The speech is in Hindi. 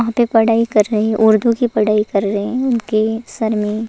वहाँ पे पढ़ाई कर रे उर्दू की पढ़ाई कर रहे हैं उनके सर में --